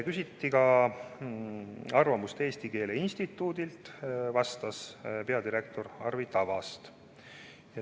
" Küsiti ka arvamust Eesti Keele Instituudilt, vastas peadirektor Arvi Tavast.